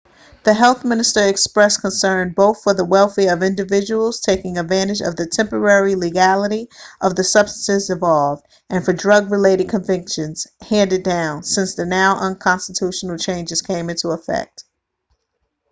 the health minister expressed concern both for the welfare of individuals taking advantage of the temporary legality of the substances involved and for drug-related convictions handed down since the now-unconstitutional changes came into effect